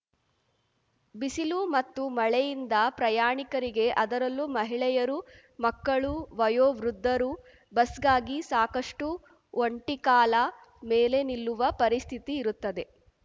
ಬಿಸಿಲು ಮತ್ತು ಮಳೆಯಿಂದ ಪ್ರಯಾಣಿಕರಿಗೆ ಅದರಲ್ಲೂ ಮಹಿಳೆಯರು ಮಕ್ಕಳು ವಯೋವೃದ್ಧರು ಬಸ್‌ಗಾಗಿ ಸಾಕಷ್ಟುಒಂಟಿ ಕಾಲ ಮೇಲೆ ನಿಲ್ಲುವ ಪರಿಸ್ಥಿತಿ ಇರುತ್ತದೆ